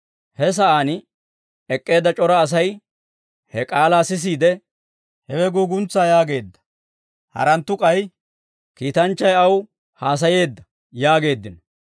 He sa'aan ek'k'eedda c'ora Asay he k'aalaa sisiide, «Hewe guuguntsaa» yaageedda. Haranttu k'ay, «Kiitanchchay aw haasayeedda» yaageeddino.